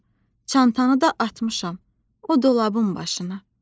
Çantanı da atmışam o dolabın başına.